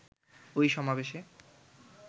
ঐ সমাবেশে